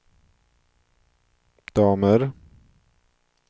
damer